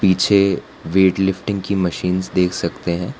पीछे वेटलिफ्टिंग की मशीन देख सकते हैं।